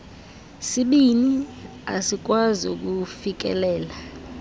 sibini asikwazi kufikelela